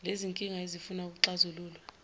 lezinkinga ezifuna ukuxazululwa